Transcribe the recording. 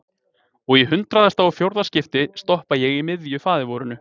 Og í hundraðasta og fjórða skipti stoppa ég í miðju faðirvorinu.